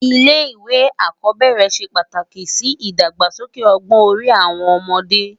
Ilé iwé ákòbèrè sé pátáki si idágbásóké ògbòn òri áwòn òmòdè